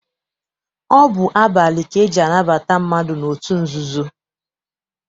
Ọ bụ abalị ka eji anabata mmadụ n'otu nzuzo.